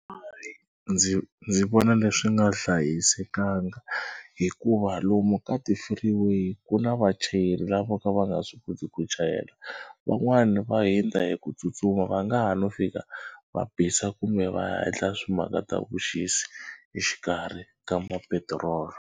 Ndzi ndzi vona leswi nga hlayisekanga hikuva lomu ka ti-freeway ku na vachayeri lava ka va nga swi koti ku chayela. Van'wani va hundza hi ku tsutsuma va nga ha no fika va bisa kumbe va endla swi mhaka ta vuxisi exikarhi ka ma petiroli.